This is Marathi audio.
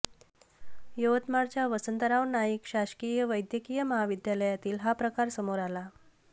यवतमाळच्या वसंतराव नाईक शासकीय वैद्यकीय महाविद्यालयातील हा प्रकार समोर आला